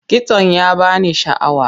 Kitson ya ba ni sha'awa.